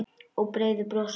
Og breiðu brosi.